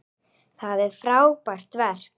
Það er frábært verk.